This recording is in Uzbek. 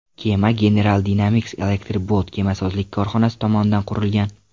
Kema General Dynamics Electric Boat kemasozlik korxonasi tomonidan qurilgan.